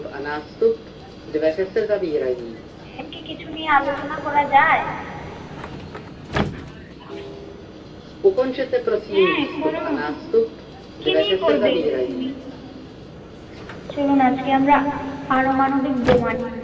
এখন কি কিছু নিয়ে আলোচনা করা যায় হাঁ কর কি নিয়ে করবে তুমি? চলুন আজকে আমরা পারমাণবিক বোমা